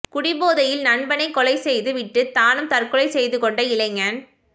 குடி போதையில் நண்பனை கொலை செய்து விட்டு தானும் தற்கொலை செய்துகொண்ட இளைஞன்